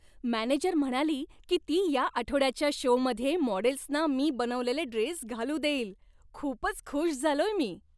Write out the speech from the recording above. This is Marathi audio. मॅनेजर म्हणाली की ती या आठवड्याच्या शोमध्ये मॉडेल्सना मी बनवलेले ड्रेस घालू देईल, खूपच खुश झालोय मी.